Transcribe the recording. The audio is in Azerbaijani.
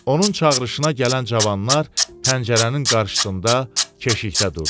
Onun çağırışına gələn cavanlar pəncərənin qarşısında keşiyə durdu.